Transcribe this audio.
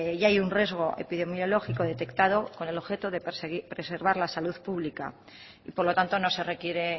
ya hay un riesgo epidemiológico detectado con el objeto de preservar la salud pública por lo tanto no se requiere